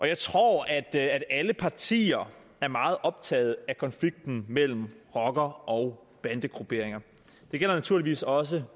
jeg tror at alle partier er meget optaget af konflikten mellem rocker og bandegrupperinger det gælder naturligvis også